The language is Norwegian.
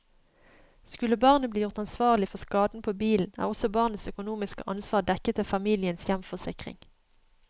Skulle barnet bli gjort ansvarlig for skaden på bilen, er også barnets økonomiske ansvar dekket av familiens hjemforsikring.